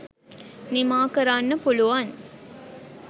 නිමා කරන්න පුළුවන්.